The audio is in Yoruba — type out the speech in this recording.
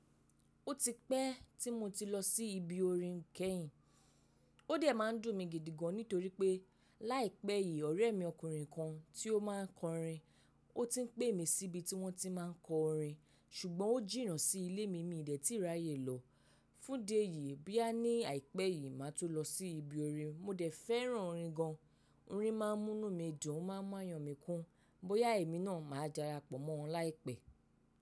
Ó ti pẹ́ tí mo ti lọ sí ibi orin kẹ́yìn. Ó dẹ̀ máa ń dùn mi gidi gan nítorí pé láìpẹ́ yìí ọ̀rẹ́ mi ọkùnrin kan tí ó máa ń kọrin ó ti ń pè mí síbi tí wọ́n ti máa ń kọ orin ṣùgbọ́n ó jìnà sí ilé mi, mí dẹ̀ ti ráyè lọ. Fún idi eyì bóyá ní àìpẹ́ yìí màá tun lọ sí ibi orin. Mo dẹ̀ fẹ́ràn orin gan. Orin máa ń mú nù midun, ó máa ń mú ayọ̀ mí kún. Bóyá èmi náà màá darapọ̀ mọ́ wọn láìpẹ́.